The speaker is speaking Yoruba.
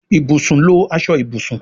Ibùsùn lọ aṣọ Ibùsùn.